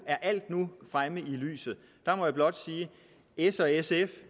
er alt nu fremme i lyset der må jeg blot sige at s og sf